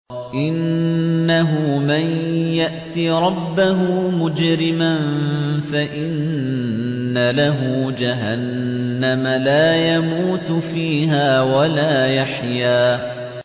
إِنَّهُ مَن يَأْتِ رَبَّهُ مُجْرِمًا فَإِنَّ لَهُ جَهَنَّمَ لَا يَمُوتُ فِيهَا وَلَا يَحْيَىٰ